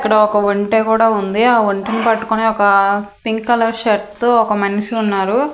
ఇక్కడ ఒక ఒంటె కూడా ఉంది ఆ ఒంటెని పట్టుకుని ఒక పింక్ కలర్ షర్ట్ తో ఒక మనిషి ఉన్నారు.